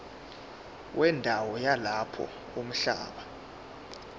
wendawo yalapho umhlaba